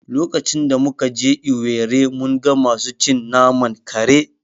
Lokacin da muka je Owerri mun ga masu cin naman kare